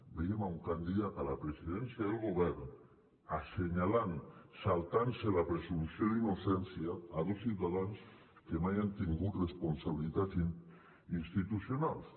veiem un candidat a la presidència del govern assenyalant saltant se la presumpció d’innocència a dos ciutadans que mai han tingut responsabilitats institucionals